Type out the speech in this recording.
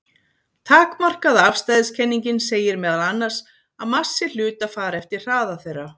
Takmarkaða afstæðiskenningin segir meðal annars að massi hluta fari eftir hraða þeirra.